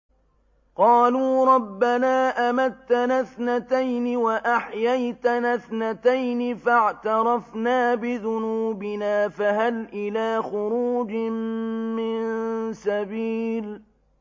قَالُوا رَبَّنَا أَمَتَّنَا اثْنَتَيْنِ وَأَحْيَيْتَنَا اثْنَتَيْنِ فَاعْتَرَفْنَا بِذُنُوبِنَا فَهَلْ إِلَىٰ خُرُوجٍ مِّن سَبِيلٍ